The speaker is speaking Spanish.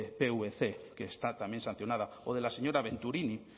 pvc que está también sancionada o de la señora venturini